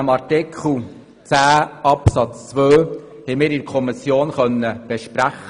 der SiK. Artikel 10 Absatz 2 konnten wir in der Kommission besprechen.